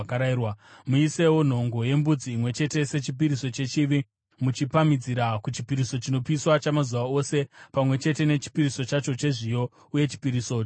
Muisewo nhongo yembudzi imwe chete sechipiriso chechivi, muchipamhidzira kuchipiriso chinopiswa chamazuva ose pamwe chete nechipiriso chacho chezviyo uye chipiriso chokunwa.